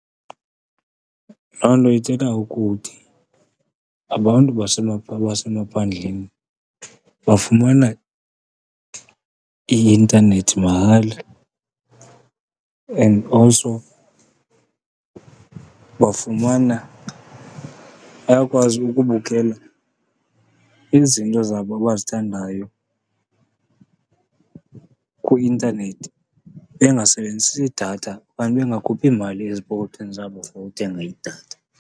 Loo nto ithetha ukuthi abantu basemaphandleni bafumana i-intanethi mahala. And also bafumana, bayakwazi ukubukela izinto zabo abazithandayo kwi-intanethi bengasebenzisi datha okanye bengakhuphi mali ezipokothweni zabo for uthenga idatha.